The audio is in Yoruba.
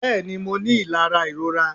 bẹẹni, mo ní ilara irorà